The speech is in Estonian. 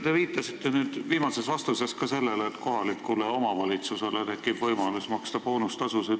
Te viitasite viimases vastuses ka sellele, et kohalikul omavalitsusel tekib võimalus maksta boonustasu.